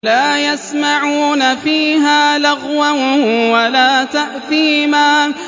لَا يَسْمَعُونَ فِيهَا لَغْوًا وَلَا تَأْثِيمًا